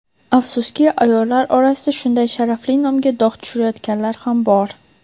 Afsuski ayollar orasida shunday sharafli nomga dog‘ tushirayotganlar ham bor.